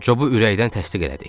Cobu ürəkdən təsdiq elədik.